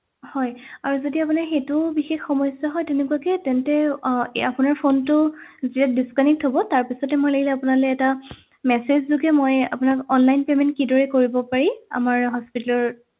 হয় আৰু যদি আপোনাৰ সেইটোও বিশেষ সমস্যা হয় তেনেকুৱাকে তেন্তে আহ আপোনাৰ ফোনটা যেতিয়া disconnect হব তাৰ পিছতে মই লাগিলে আপোনালে এটা message যোগে মই আপোনাক online payment কিদৰে কৰিব পাৰি আমাৰ hospital ৰ